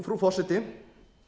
frú forseti